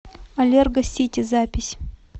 аллергосити запись